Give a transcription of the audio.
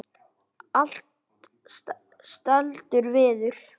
Allt seldur viður.